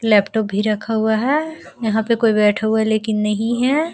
Laptop भी रखा हुआ है यहाँ पे कोई बैठा हुआ है लेकिन नहीं है।